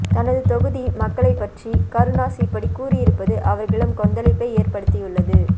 தனது தொகுதி மக்களை பற்றி கருணாஸ் இப்படி கூறியிருப்பது அவர்களிடம் கொந்தளிப்பை ஏற்ப்படுத்தியுள்ளது